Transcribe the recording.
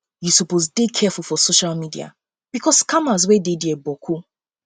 you suppose dey careful for social media bicos bicos scammers wey dey dia boku